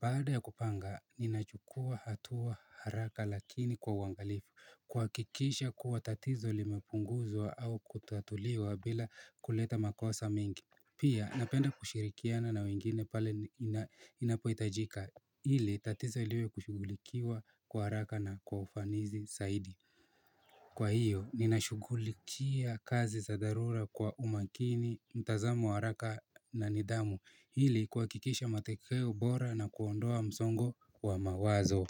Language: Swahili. Baada ya kupanga, ninachukua hatua haraka lakini kwa wangalifu Kwa kikisha kuwa tatizo limepunguzwa au kutatuliwa bila kuleta makosa mingi Pia napenda kushirikiana na wengine pale inapoitajika hili tatizo iliwe kushugulikiwa kwa haraka na kwa ufanizi saidi Kwa hiyo ninashugulikia kazi za darura kwa umakini mtazamu haraka na nidamu hili kuwa kikisha matekeo bora na kuondoa msongo wa mawazo.